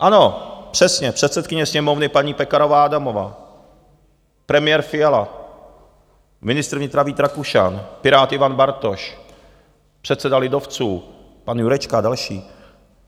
Ano, přesně, předsedkyně Sněmovny paní Pekarová Adamová, premiér Fiala, ministr vnitra Vít Rakušan, Pirát Ivan Bartoš, předseda lidovců pan Jurečka a další.